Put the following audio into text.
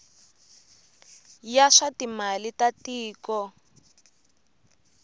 ya swa timali ta tiko